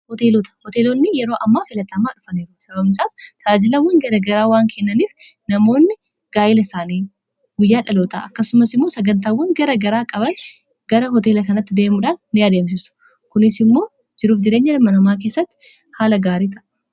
hoteelota hoteelonni yeroo ammaa filaxm dhufa sabamsaas ta'ajilawwan garagaraa waan kennaniif namoonni gaayila isaanii guyyaa dhaloota akkasumas immoo sagantaawwan gara garaa qaban gara hoteela kanatti deemuudhaan ni adi'amsissu kunis immoo jiruuf jireenya dhamanamaa keessatti haala gaarita